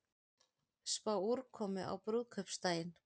Spá úrkomu á brúðkaupsdaginn